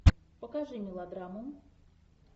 покажи мелодраму